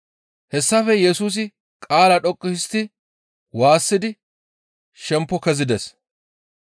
Hessafe Yesusi qaala dhoqqu histti waassidi shempo kezides.